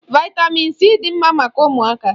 Vị́tamị́n c dị mma maka ụmụaka.